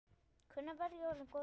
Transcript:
Hvenær verð ég orðinn góður?